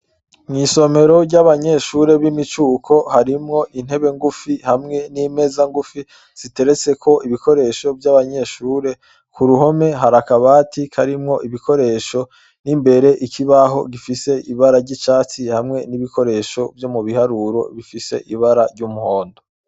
Mw'isomero ry'abanyeshure b'imicuko harimwo intebe ngufi hamwe n'imeza ngufi ziteretse ko ibikoresho vy'abanyeshure ku ruhome hari akabati karimwo ibikoresho n'imbere ikibaho gifise ibara ry'icatsi hamwe n'ibikoresho vyo mu biharuro bifise ibara ry'umuhondo.